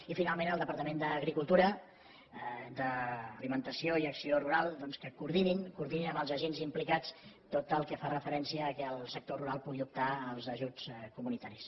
i finalment al departament d’agricultura d’alimentació i acció rural doncs que coordinin coordinin amb els agents implicats tot el que fa referència al fet que el sector rural pugui optar als ajuts comunitaris